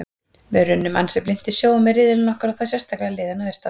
Við runnum ansi blint í sjóinn með riðillinn okkar og þá sérstaklega liðin að austan.